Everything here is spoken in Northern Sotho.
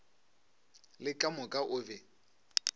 le ka moka o be